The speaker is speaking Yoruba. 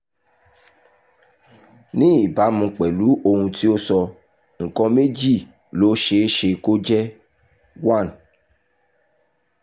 ní ìbámu pẹ̀lú ohun ti o sọ nǹkan méjì ló ṣe é se kó jẹ́ one